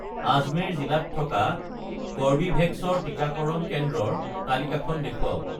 আজমেৰ জিলাত থকা কৰ্বীভেক্স ৰ টিকাকৰণ কেন্দ্ৰৰ তালিকাখন দেখুৱাওক